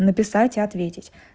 написать и ответить